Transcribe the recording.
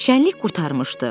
Şənlik qurtarmışdı.